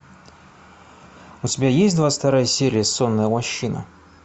у тебя есть двадцать вторая серия сонная лощина